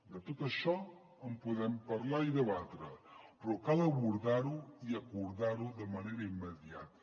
de tot això en podem parlar i debatre però cal abordar ho i acordar ho de manera immediata